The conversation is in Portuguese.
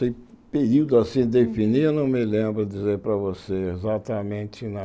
Sem período assim definido, não me lembro dizer para você exatamente, não.